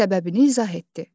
Səbəbini izah etdi.